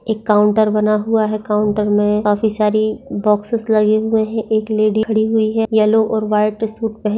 एक काउंटर बना हुआ है काउंटर मे काफ़ी सारी बॉक्सेस लगे हुए है एक लेडी खडी हुई है येल्लो और व्हाइट सुट पह--